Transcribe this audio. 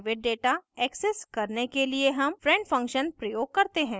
private data access करने के लिए हम friend function प्रयोग करते हैं